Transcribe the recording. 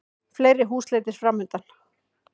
Fleiri húsleitir framundan